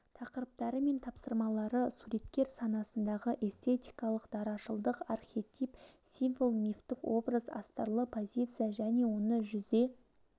тақырыптары мен тапсырмалары суреткер санасындағы эстетикалық дарашылдық архетип символ мифтік образ астарлы позиция және оны жүзе